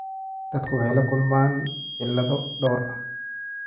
Dadku waxay la kulmaan cillado dhowr ah.